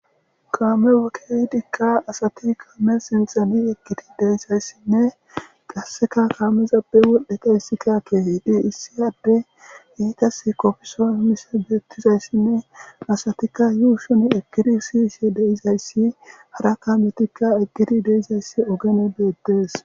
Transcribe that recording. kaame wokkeyi dikka asati kaame sinxani ekidi deisayssinne qasseka kaamezabe wol7eta hissika keehiidii issiyadde heytas kopfeson mise beettizayssinne asatikka yuu shun eggiri siyishe deizayssi hara kaametikka eggiri deizayssi ogene beettees